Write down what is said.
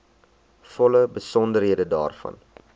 volle besonderhede daarvan